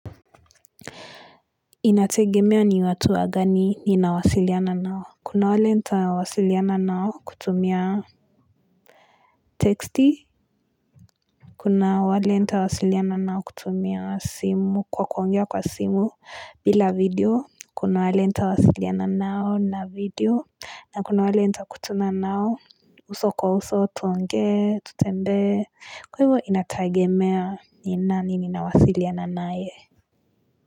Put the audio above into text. Inategemea ni watu wagani ninawasiliana nao Kuna wale nita wasiliana nao kutumia text Kuna wale nita wasiliana nao kutumia simu kwa kuongea kwa simu bila video Kuna wale nita wasiliana nao na video na kuna wale nita kutana nao uso kwa uso tuonge tutende Kwaivo inategemea ni nani ninawasiliana naye.